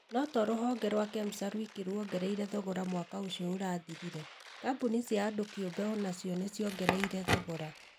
No to Ruhonge rwa Kemsa rwiki rwoongereire thogora mwaka ũcio ũrathirire, kambũni cia andũ kĩũmbe o na cio nĩ ciongereire thogora.